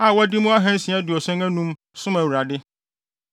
a wɔde mu ahansia aduɔson anum (675) som Awurade;